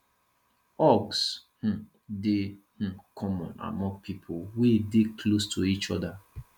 hugs um dey um common among pipo wey dey close to each oda